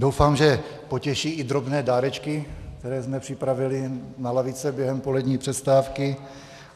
Doufám, že potěší i drobné dárečky, které jsme připravili na lavice během polední přestávky.